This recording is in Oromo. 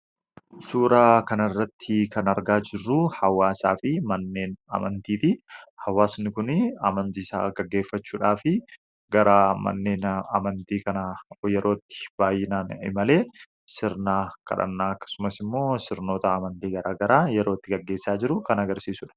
Suuraa kana irratti kan argaa jirru hawaasaa fi manneen amantiiti hawaasni kun amantii isaa gaggeeffachuudhaa fi gara manneen amantii kana yerootti baayyinaan malee sirnaa kadhannaa akkasumas immoo sirnoota amantii garagaraa yerootti gaggeessaa jiru kan agarsiisuudha.